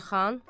Elxan: